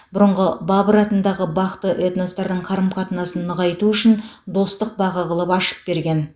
бұрынғы бабыр атындағы бақты этностардың қарым қатынасын нығайту үшін достық бағы қылып ашып берген